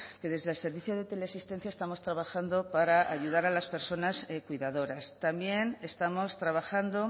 que desde el servicio de teleasistencia estamos trabajando para ayudar a las personas cuidadoras también estamos trabajando